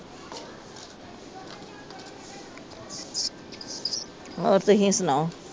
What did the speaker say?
ਹੋਰ ਤੁਸੀਂ ਸੁਣਾਉ